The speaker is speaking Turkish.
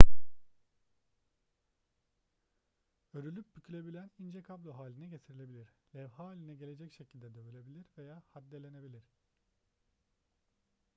örülüp bükülebilen ince kablo haline getirilebilir levha haline gelecek şekilde dövülebilir veya haddelenebilir